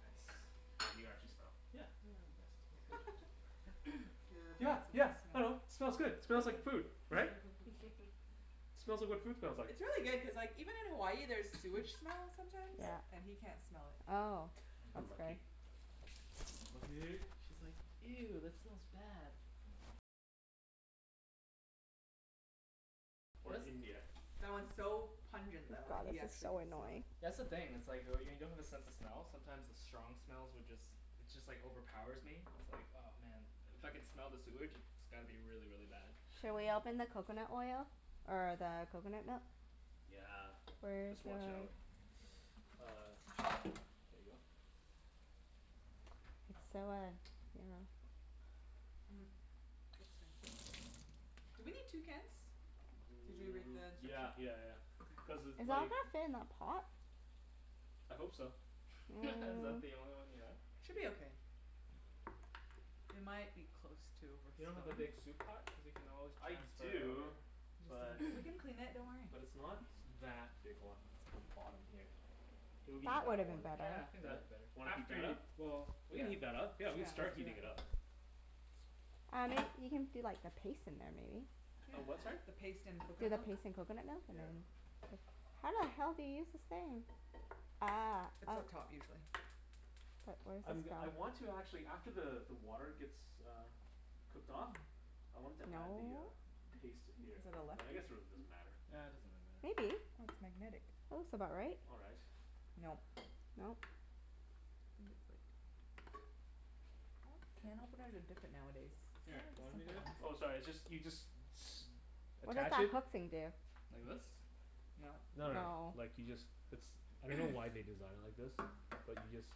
Nice. Can you actually smell? Yeah. Yeah, yeah, yeah, it Nice. smells good. Your Yeah, bad sense yeah. of I smell. know. Smells good. Smells like food, right? Smells like what food smells like. It's really good cuz like, even in Hawaii there's sewage smell sometimes, Yeah. Yeah. and he can't smell it. Oh. I know. That's okay. Lucky. Lucky. She's like, "Ew, that smells bad." Or India. That one's so Oh pungent though that god, he this is actually so can smell annoying. it. That's the thing, it's like oh y- when you don't have a sense of smell sometimes the strong smells would just it just like overpowers me. It's like, oh man. If I can smell the sewage it's gotta be really, really bad. Shall we Mhm. open the coconut oil? Or the coconut milk? Yeah. Where's Just your watch out. Uh there you go. It's so uh, you know Hmm. Looks fancy. Do we need two cans? Did you read N- the yeah instructions? yeah yeah yeah. Okay. Cuz Is it all like gonna fit in that pot? I hope so. Is that the Mm. only one you have? Should be Yep. okay. We might be close to You don't have a overspilling. big soup pot? Cuz we can always I transfer it over. do, He just but doesn't, we can clean it. Don't worry. but it's not that big, hold on, it's on the bottom here. It'll be That would've that been one. better. Yeah, I think that'd Yeah. be better. Wanna heat After that y- up? well, We can yeah. heat that up. Yeah, Yeah, we can let's start do heating it that. up. Um y- you can do like a paste in there, maybe? Yeah. A what, sorry? The paste and Do coconut the milk. paste in coconut milk and Yeah. then How the hell do you use this thing? Ah, It's oh. up top, usually. But where does I'm g- this I go? want to actually, after the the water gets uh cooked off, Hmm. I wanted to Hmm, add the uh no. paste to here. But I guess it really doesn't matter. Yeah, it doesn't really matter. Maybe. Oh, it's magnetic. That looks about right. All right. Nope. Nope. I think it's like Oh, can openers are different nowadays. Where Here, are the you want me to simple do it? ones? Oh sorry, it's just, you just s- What does attach that it hook thing do? Like this? Nope. No no no, No. like you just, it's, I don't know why they designed it like this. But you just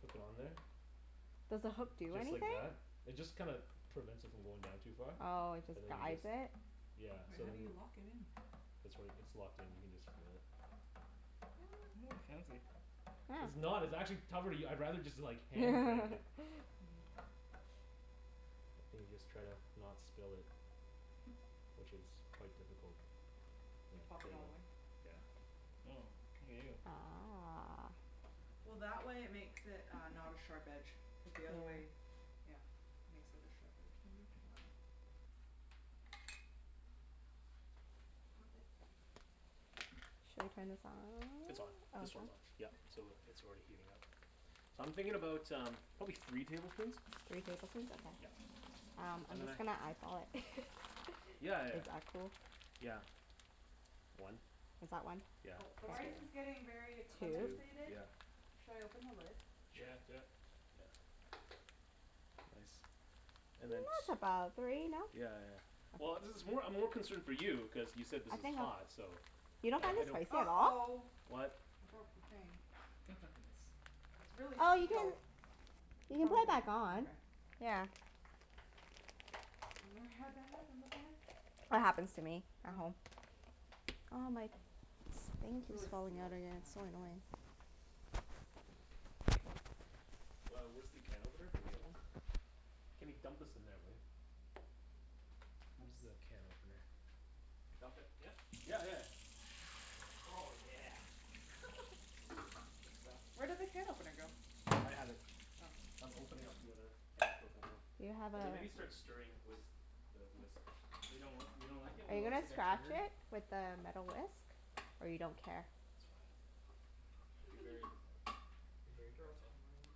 hook it on there Does the hook do just like anything? that. It just kinda prevents it from going down too far. Oh, it just And then you guides just it? Yeah. Wait, So how do then you lock it in? It's like, it's locked in. You can just do it. What? Oh, fancy. It's Oh. not. It's actually cover- I'd rather just hand crank it. Mhm. And you just try to not spill it. Which is quite difficult. You Yeah, pop there it you all the go. way? Yeah. Oh. Look at you. Ah. Well, that way it makes it uh not a sharp edge. Cuz the Yeah. other way, yeah, makes it a sharp edge maybe? I dunno. Pop it. Shall we turn this on? It's on. This one's Okay. on. Yeah. So it's already heating up. So I'm thinking about um probably three tablespoons. Three tablespoons? Yeah. Okay. Um, I'm just gonna eyeball it. Yeah yeah Is yeah. that cool? Yeah. One. Is that one? K. Yeah, Oh, the rice that's is a good one. getting very a Two. Two, comensated. yeah. Should I open the lid? Sure. Yeah, do it. Yeah. Nice. And And then that's t- about three, no? Yeah yeah yeah. Well, this is more, I'm more concerned for you cuz you said this I think is I'm hot, so You Yeah, don't find I this don't spicy at all? uh-oh. What? I broke the thing. Nice. It's really Oh, you sealed. can you I can probably put it can, back on. okay. Yeah. I've never had that happen before. That happens to me at Oh. home. Oh my, this thing It's keeps really falling out sealed. again. And I It's have so wet hands. annoying. K. Well, where's the can opener for the other one? Kenny, dump this in there, will ya? Where's the Whoops. can opener? Dump it, yeah? Yeah yeah yeah. Oh yeah. That's the stuff. Where did the can opener go? I have it. Oh. I'm opening up the other can of coconut milk. Do you have a And then maybe start stirring with the whisk. But you don't, you don't like it Are when it you looks gonna like a scratch turd? it with the metal whisk? Or you don't care? It's fine. Be very, be very Girls careful. can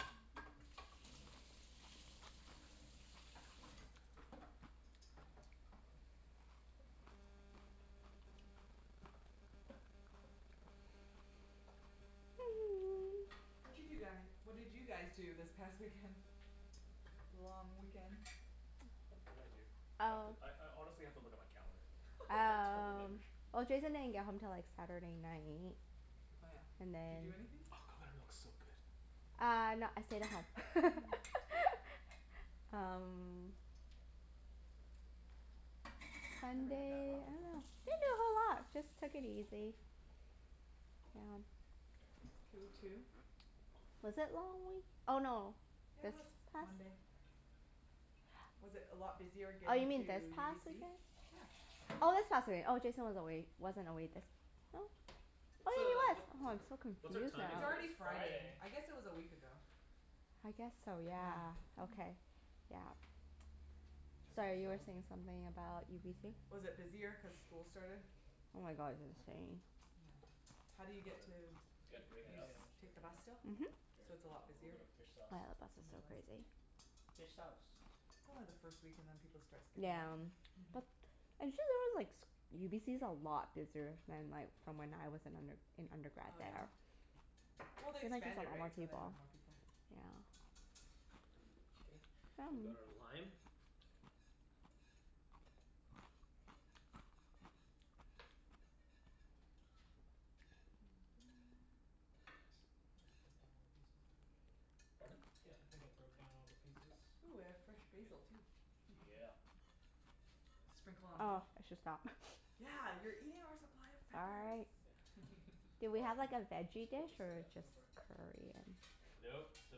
Watcha do guy, what did you guys do this past weekend? Long weekend? What did I do? I have to, Oh I I honestly have to look at my calendar. I don't Um, remember. well Jason didn't get home til like Saturday night Oh yeah. and Did you do then Oh, anything? Oh, that coconut milk's looks so so good. good. Uh no, I stayed at home. Um Never had that Sunday raw I before. dunno. Didn't do a whole lot. Just took it easy. Yeah. That's cool too. Was it long wee- oh no, Yeah, it this was. past Monday. Was it a lot busier Oh, you getting to mean this past UBC? weekend? Yeah. Oh, this past wee- oh, Jason was away, wasn't away this, oh Oh What's yeah, he a, was. what, Oh, I'm so what's our confused now. timing It's It already is like? Friday. Friday. I guess it was a week ago. I guess so, yeah. Yeah. Okay. Yeah. Turn Sorry, this you were off. saying something about UBC? Was it busier cuz school started? Oh my god, it's insane. Yeah. How do you Was get it, to, It's did good. it break Yeah, it you st- yeah, up? yeah, I'm just take the breaking it bus up. still? Mhm. Oh Here, So yeah, it's a lot a little busier? bit of fish sauce. the bus On is so Yep. the bus. crazy. Fish sauce. It's only the first week and then people start skipping Yeah. out. But, actually there was like s- UBC's a lot busier than like from when I was in under- an undergrad Oh, yeah? there. Well, they Seems like there's a expanded, lot right? more So they people. have more people. Okay. We've got our lime. Yeah. Nice. I think I broke down all the pieces, I think. Pardon? Yeah, I think I broke down all the pieces. Ooh, we have fresh Should be good. basil, too. Yeah. Sprinkle on Oh, top. I should stop. Yeah, you're eating our supply of peppers. Sorry. Yeah. Do we All right, have like a let's veggie put dish Yep. this in. or Go just for it. curry and Nope, the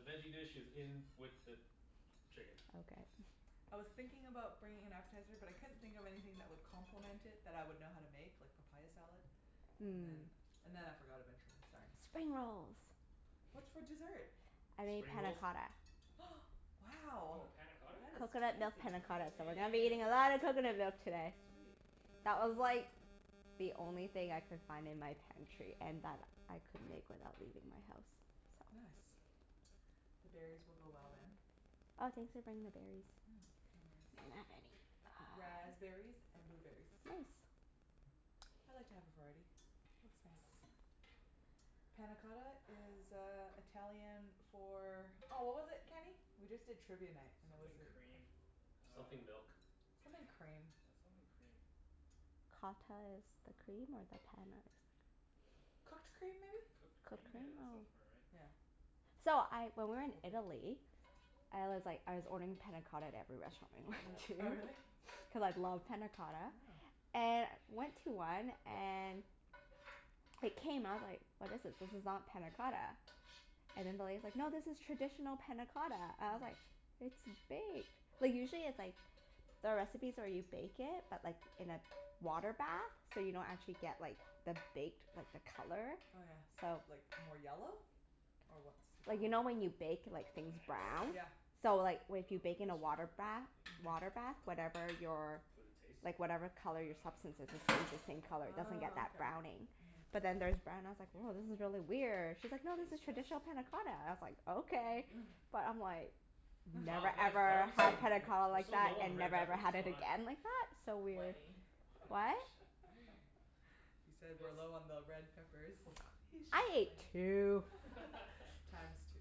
veggie dish is in with the chicken. Okay. I was thinking about bringing an appetizer, but I couldn't think of anything that would complement it that I would know how to make, like papaya salad. And then Mm. and then I forgot eventually. Sorry. Spring rolls. What's for dessert? I made Spring panna rolls? cotta. Hm. Wow. Woah, panna cotta? That is Coconut milk fancy. panna cotta, so we're gonna be Damn. eating a lot of coconut milk today. Sweet. That was like the only thing I could find in my pantry and that I could make without leaving my house, so Nice. The berries will go well, then. Oh, thanks for bringing the berries. Yeah. No worries. I didn't have any. Ah. Raspberries and blueberries. Nice. I like to have a variety. Looks nice. Panna cotta is uh Italian for Oh, what was it, Kenny? We just did Trivia Night and it was Something a quest- cream uh Something milk. Something cream. Yeah, something cream. Cotta is the cream, or the Um panna is? Cooked cream, maybe? Cooked Cooked cream? Yeah, cream? that Oh. sounds about right. Yeah. So, I, when we Or were in baked. Italy I was like, I was ordering panna cotta at every restaurant we went Oh, to. really? Cuz I love Yeah. panna cotta. And went to one and it came out, I was like, "What is this? This is not panna cotta." And then the lady's like, "No, this is traditional panna cotta." I was like, Mm. "It's baked." Like usually it's like the recipes where you bake it, but like in a water bath. So you don't actually get like the baked, but the color. Oh yeah, So like, more yellow? Or what's the color? Like you know when you bake like things brown? Yeah. Nice. So like w- if Well, you we bake in can a switch water to this, bath I think. Mhm. water bath, whatever your Would it taste? like whatever color your substance Um is it stays the same Yeah. color. It doesn't get Ah, that okay. browning. Mhm. But then theirs brown and I was I'll like, give it "Woah, a this is little really weird." She's like, "No, this is taste test. Smells, traditional panna yeah. cotta." I was like, "Okay." But I'm like Wow, never, guys, why are ever we so l- had panna w- cotta we're like so that, low on the and red never, ever peppers. had What's it going on? again like that. So weird. Wenny. What? He said we're Phil's low on the red peppers. He's just I ate playing. two. Times two.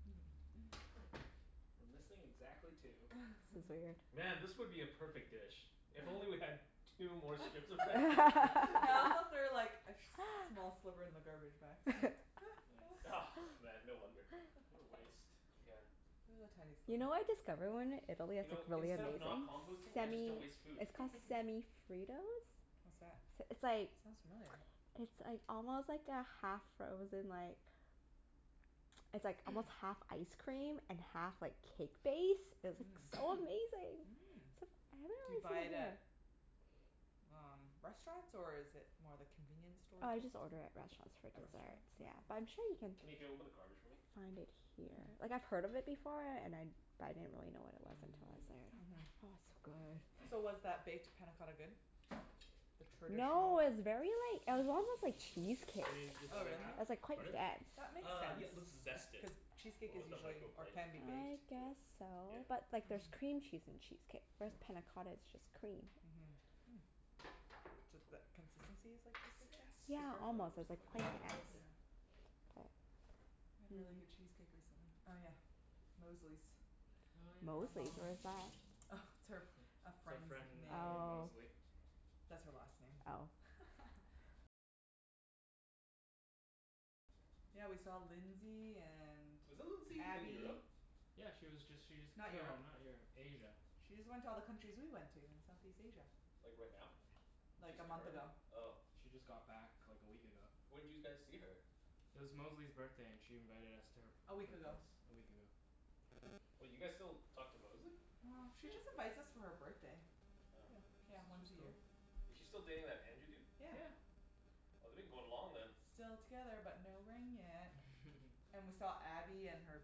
We're missing exactly two. Man, this would be a perfect dish if only we had two more strips of red pepper. I also threw like a sh- small sliver in the garbage by accident. Yep. Nice. Man, no wonder. What a waste. Yeah. It was a tiny You sliver. know what I discovered when we were in Italy You that's like know, really instead of not amazing? composting, I just Semi, don't waste food. it's called Semi Fritos. What's that? S- It's like Sounds familiar. it's like almost like a half-frozen like it's like almost half ice cream and half like cake base. It's like Mmm. so amazing. Mm. Except I haven't Do really you seen buy it it at here. um restaurants, or is it more the convenience store Oh, I type just of order thing? at restaurants for At restaurants? desserts, yeah. But Oh. I'm sure you can Kenny, can you open the garbage for me? find it here. Hmm. Like, I've heard of it before and I but I didn't really know what it was until I was Mm. there. Oh, Mhm. it's so good. So was that baked panna cotta good? The No, traditional it was very like, it was almost like Throw this cheesecake. out. You need this Oh, other really? half? It was like quite Pardon? dense. That makes Uh, sense. yeah let's zest it. Cuz cheesecake is With the Woah. usually, or microblade. can be, baked. I Do it. guess so. Yeah. But like there's Mhm. cream cheese in cheesecake. Whereas panna cotta is just cream. Mhm. Hmm. Ju- th- consistency is like cheesecake then? Yeah, Zest. Thicker? Oh, almost. It where's was the like plain microblade? Here. Yeah. K. We had really good cheesecake recently. Oh yeah, Mosley's. Oh Her yeah. Mosley's? mom. Where's that? Oh, it's her, It's a our friend's friend name. named Oh. Mosley. Oh. Yeah, we saw Lindsay and Wasn't Lindsay in Abby. Europe? Yeah, she was just, she just, Not no, Europe. not Europe. Asia. She just went to all the countries we went to in Southeast Asia. Like right now? Like, She's a month currently? ago. Oh. She just got back like a week ago. When'd you guys see her? It was Mosley's birthday and she invited us to her A p- week her ago. place a week ago. Wait, you guys still talk to Mosley? Well, she just invites us for her birthday. Oh. Yeah, Yeah, she's once a she's year. cool. Is she still dating that Andrew dude? Yeah. Yeah. Well they've been going long then. Still together but no ring yet. And we saw Abby and her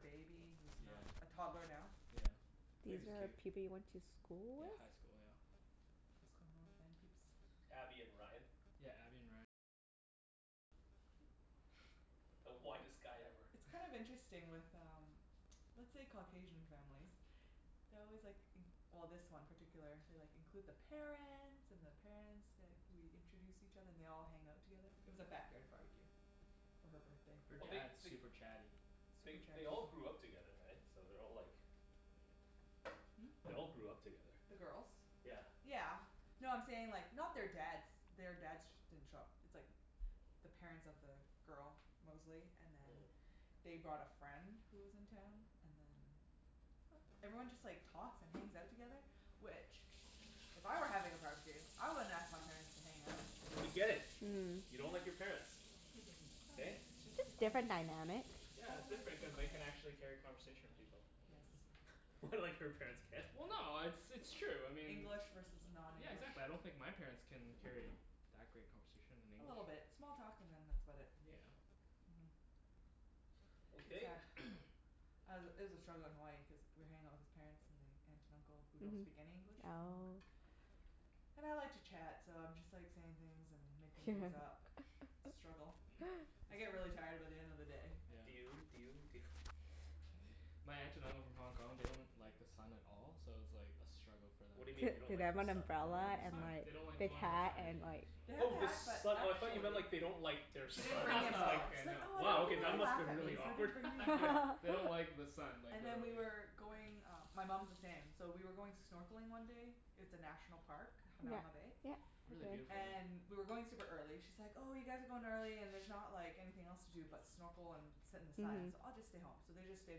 baby, who's Yeah. not a toddler now. Yeah. These Baby's are cute. people you went to school Yeah, with? high school. Yeah. High school North Van peeps. Abby and Ryan. The whitest guy ever. It's kind of interesting with um let's say Caucasian families they always like in- well, this one particular, they like, include the parents and the parents, like we introduce each other. And they all hang out together. It was a backyard barbecue. For her birthday. Her Well they dad's they super chatty. they Super chatty they all people. grew up together, right? So they're all like Hmm? They all grew up together. The girls? Yeah. Yeah. No, I'm saying like, not their dads, their dads sh- didn't show up. It's like the parents of the girl, Mosley, and then Mm. they brought a friend who was in town, and then everyone just like talks and hangs out together, which if I were having a barbecue, I wouldn't ask my parents to hang out. We get it. Mm. You don't like your Yeah. parents. Hey? it's just Just different different dynamic. Yeah, it's Totally different cuz different they can dynamic. actually carry a conversation with people. Yes. What, like her parents can't? Well no, it's it's true. I mean English versus Yeah, non-english. exactly. I don't think my parents can carry that great conversation in A English. little bit. Small talk and then that's about it. Yeah. Mhm. It's Okay. sad. I was it was a struggle in Hawaii cuz we were hanging out with his parents and the aunt and uncle, who don't Mhm. speak any English, from Hong Kong Oh. And I like to chat so I'm just like saying things and making things up. Struggle. I It's get fine. really tired by the end of the day. Yeah. Do you do you do you My aunt and uncle from Hong Kong, they don't like the sun at all so it was like a struggle for them What do you being mean in they don't Did they Hawaii. like have the an sun? They don't umbrella like the and sun. like They don't like thick going hat outside. and like They have Oh, the the hat, but sun. I thought you actually meant like they don't like their She didn't son, and bring I the was like umbrella. Okay, She's like, no. "I don't They wow, want okay, don't people to that like must've laugh been at really me, so I awkward. didn't bring the umbrella." they don't like the sun, like And then we literally. were going, uh my mom's the same, so we were going snorkeling one day It's a National Park, Yeah. Hanauma Bay. Yeah. Really Been there. beautiful, yeah. And we were going super early. She's like, "Oh, you guys are going early and there's not like anything else to do but snorkel and sit in the sun, Mhm. so I'll just stay home." So they just stayed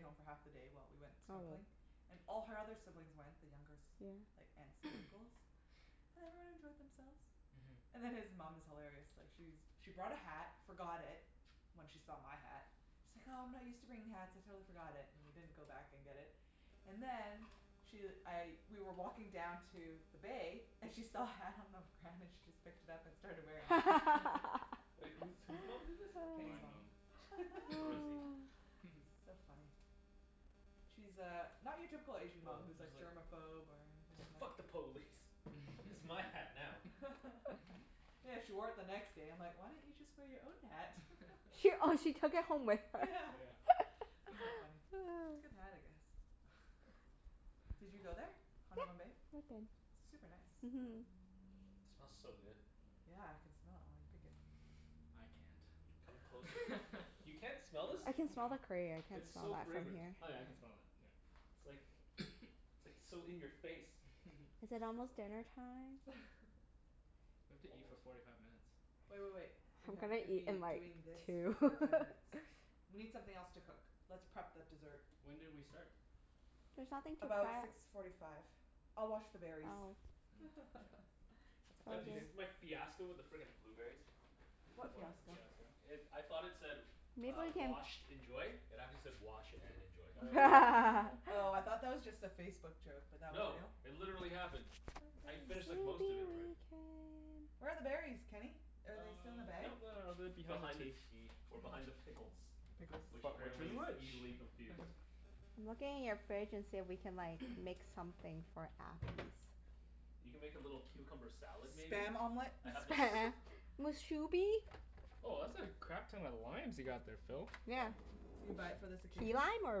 home for half the day while we went Probably. snorkeling. And all her other siblings went, the younger Yeah. s- like aunts and uncles. And everyone enjoyed themselves. Mhm. And then his mom is hilarious. Like she's she brought a hat, forgot it when she saw my hat she's like, "Oh, I'm not used to bringing hats. I totally forgot it." And we didn't go back and get it. And then she, I, we were walking down to the bay and she saw a hat on the ground, and she just picked it up and started wearing it. Wait, whose whose mom did this? Kenny's My mom. mom. Rosie. So funny. She's uh not your typical Asian mom Well, who's she's like like germophobe or anything like "Fuck the police!" "It's my hat now." Yeah, she wore it the next day. I'm like, "Why don't you just wear your own hat?" She, oh she took it home with her? Yeah. Yeah. So funny. Good hat, I guess. Did you go there? Yeah, Hanauma Bay? I've been. Super nice. Mhm. It smells so good. Yeah, I can smell it while you pick it. I can't. Come closer. You can't smell this? I can smell No. the curry. I can't It's smell so that from fragrant. here. Oh yeah, I can Yeah? smell that. Yeah. It's like, it's like so in your face. Is it almost dinnertime? We have to eat for Almost. forty five minutes. Wait wait wait. I'm We have gonna to eat be in like doing this for two. forty five minutes. We need something else to cook. Let's prep the dessert. When did we start? There's nothing to About prep. six forty five. I'll wash the berries. Oh. Mm. Oh, yeah. That's It's all I Bah all do can you there. do. s- my fiasco with the frickin' blueberries? M- What what fiasco? fiasco? It, I thought it said Maybe uh, we can "Washed. Enjoy." It actually said, "Wash and enjoy." Oh. Oh, I thought that was just a Facebook joke, but that was No, real? it literally happened. Where are I the we berries? finished can. like most of it already. Where are the berries, Kenny? Are Uh, they still in the bag? nope, no, no, no, they're behind the Behind the tea. tea. Or behind the pickles. Pickles. Which But which is apparently is which? easily confused. I'm looking in your fridge and see if we can like make something for appies. You can make a little cucumber salad, maybe? Spam omelet? I have this Spam! Mus shubi? Woah, that's a crap ton of limes you got there, Phil. Yeah. Yeah. Did you buy it for this Key occasion? lime, or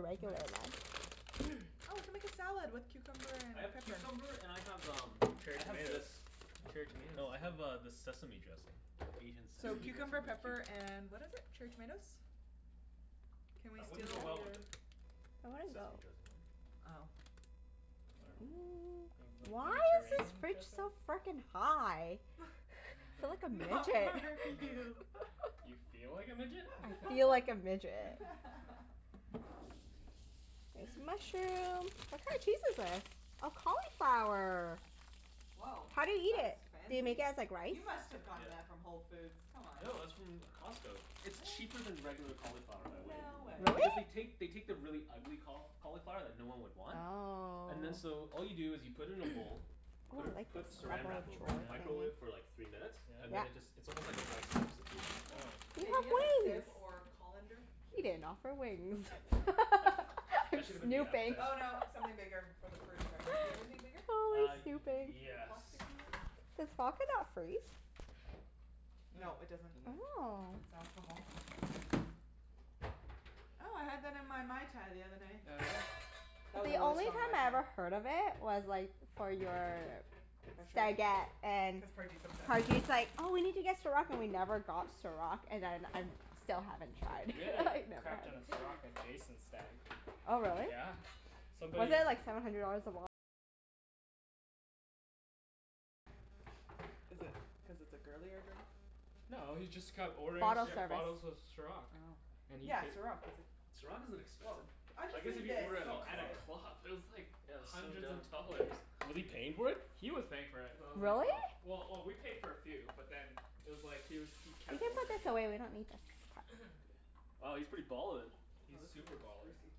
regular Nice. lime? Why Oh, we can make is a salad with cucumber and I have pepper. cucumber and I have um Cherry I have tomatoes. this. Cherry No, tomatoes I as have well. uh this sesame dressing. The Asian So sesame dressing cucumber, with pepper, cumin. and what is it? Cherry tomatoes? Can we That wouldn't go steal your well with the That wouldn't go. sesame dressing, would it? Oh. I dunno. Do you have Mm, like why is this Mediterranean fridge dressing? so frickin' high? Feel like a Not midget. You feel like a midget? I feel like a midget. There's a mushroom. What kind of cheese is this? Oh, cauliflower. Woah. How do you eat That's it? Do you make fancy. it as like rice? You must've gotten that Yeah. from Whole Foods, come on? No, that's from Costco. It's Really? cheaper than regular cauliflower by weight. No way. Because they Really? take, they take the really ugly caul- cauliflower that no one would want and then Oh. so all you do is you put it in a bowl Oh, put I it like this put drawer Saran Wrap over it, Yeah? microwave it for thingie. like three minutes. And Yeah. then it just, Yeah? it's almost like a rice substitute. Mm, cool. Oh. You Hey, do you have have a wings. sieve or colander? He Yes. didn't offer wings. I'm That should have been the appetizer. snooping. Oh, no, something bigger for the fruit, sorry. Do you have anything bigger? Always Uh, snooping. Like, a yes. plasticky one? Does vodka not freeze? No, No, it doesn't. doesn't. Oh. It's alcohol. Oh, I had that in my Mai Tai the other night. Oh yeah? That was The a really only strong Mai time I Tai. ever heard of it was like for your stagette and Cuz Parjeet's obsessed? Parjeet's like, "Oh, we need to get Ciroc," and we never got Ciroc. And then I'm, still haven't tried. We had a I know crap ton of Ciroc at Jason's stag. Oh really? Yeah, somebody Is it cuz it's a girlier drink? No, he's just kept ordering Bottle C- Here. bottles service. of Ciroc. Oh. And he Yeah, pai- Ciroc, is it Ciroc isn't Woah, expensive. I I guess just if need you this, order at a Oh, at a honestly. club. club, it was like Yeah, that's so hundreds dumb. of dollars. Was he paying for it? He was paying for it, so I was like, Really? Oh. well Well, oh we paid for a few, but then it was like he was, he You kept can put ordering this it. away. We don't need this pot. Wow, he's pretty ballin'. He's Oh, this is super baller.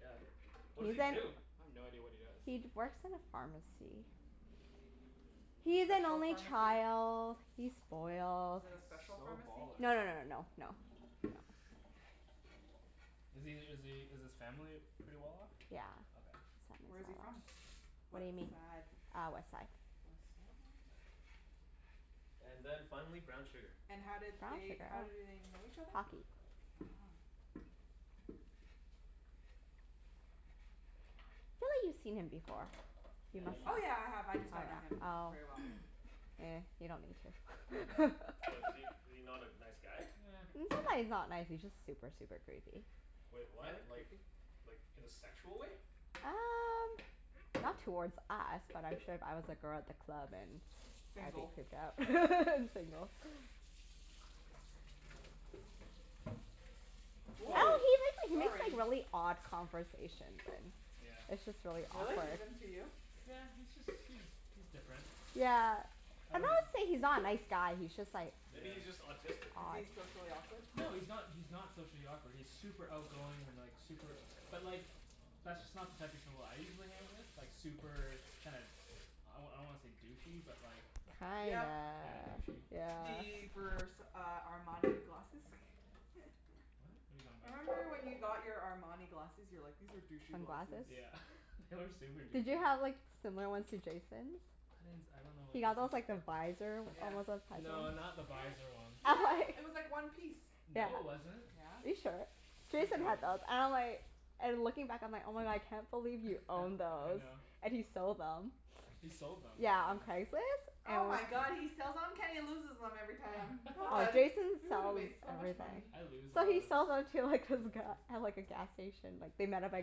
Yeah. What does he He's in do? I have no idea what he does. He'd works in a pharmacy. Mm. A He's an special only pharmacy? child. He's spoiled. Is it a He's special so pharmacy? baller. No no no no no no. No. Is he is he is his family pretty well off? Yeah, Okay. his Where is family's he well off. from? What Whaddya mean? sad? Ah, west side. West side. And then finally, brown sugar. And how did Brown they, sugar? how do Oh. they know each other? Hockey. Oh. I feel like you've seen him before. You Yeah, must you've Oh, yeah, have. I me- have. I Oh just don't know him yeah. Oh. very well. Ehh, you don't need Yeah. to. What, is he, is he not a nice guy? Eh. It's not that he's not nice, he's just super, super creepy. Wait, what? Really? Like Creepy? like in a sexual way? Um not towards us, but I'm sure if I was a girl at the club and I'd be Single. creeped out. And single. I Woah, dunno Well he make, like makes like sorry. really odd conversations and Yeah. it's just really Really? awkward. Even to you? Yeah, he's just, he's he's different. Yeah. I I'm don't not Is he saying he's not a nice guy, he's just like Maybe Yeah. he's just autistic. Is he odd. socially awkward? No, he's not, he's not socially awkward. He's super outgoing and like super But like, that's just not the type of people I usually hang out with. Like super kinda, I wa- I don't wanna say douchey, but like Kinda, Yep. Kinda douchey. yeah. The Vers- uh Armani glasses? What? What are you talking about? Remember, when you got your Armani glasses? You were like, "These are douchey glasses." Sunglasses? Yeah. They were super Did douchey. you have like similar ones to Jason's? I didn't s- I don't know what He Jason's got those look like. like the visor Yeah. No, not the visor ones. Yeah. It was like one piece. Yeah. No it wasn't. Are you Yeah. sure? Pretty Jason sure it had those. wasn't. And I'm like and looking back I'm like, "Oh my god, I can't believe you owned I those." know. And he sold them. He sold them. Yeah, on Craigslist. Oh my And god, he sells on? Kenny loses them every time. Ah, Oh, Jason we would have sells made so much everything. money. I lose a So lot he of s- sells them to like this sunglasses. guy at like a gas station like they met At at a